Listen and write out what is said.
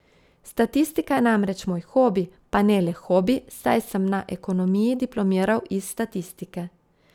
Statistika je namreč moj hobi, pa ne le hobi, saj sem na ekonomiji diplomiral iz statistike.